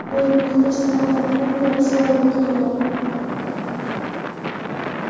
Men muxlislardan ko‘p narsa umid qilaman.